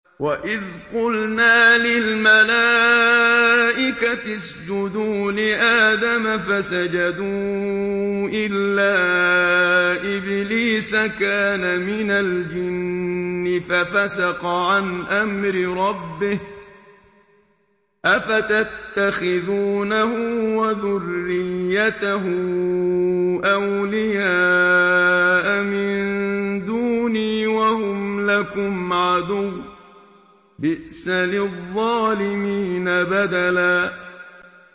وَإِذْ قُلْنَا لِلْمَلَائِكَةِ اسْجُدُوا لِآدَمَ فَسَجَدُوا إِلَّا إِبْلِيسَ كَانَ مِنَ الْجِنِّ فَفَسَقَ عَنْ أَمْرِ رَبِّهِ ۗ أَفَتَتَّخِذُونَهُ وَذُرِّيَّتَهُ أَوْلِيَاءَ مِن دُونِي وَهُمْ لَكُمْ عَدُوٌّ ۚ بِئْسَ لِلظَّالِمِينَ بَدَلًا